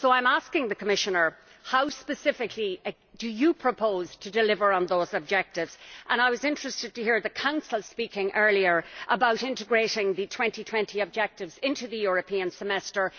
So I am asking the Commissioner How specifically do you propose to deliver on those objectives? I was interested to hear the Council speaking earlier about integrating the 2020 objectives into the European Semester.